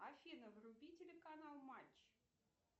афина вруби телеканал матч